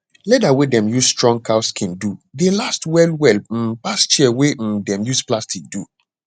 leather wey dem use strong cow skin do dey last well well um pass chair wey um dem use plastic do